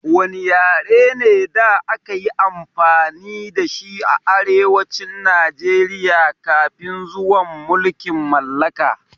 Wanne yare ne da aka yi amfani da shi a arewacin Najeriya kafin zuwan mulkin mallaka?